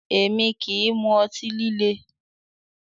Èmi kì í mu ọtí líle